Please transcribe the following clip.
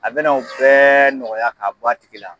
A bɛna u bɛɛ nɔgɔya k'a bɔ a tigi la.